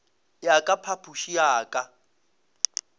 ya ka phapošing ya ka